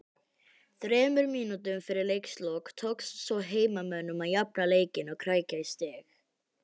Þremur mínútum fyrir leiks lok tókst svo heimamönnum að jafna leikinn og krækja í stig